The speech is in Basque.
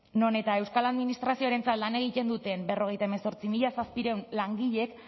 non eta euskal administrazioarentzat lan egiten duten berrogeita hemezortzi mila zazpiehun langileek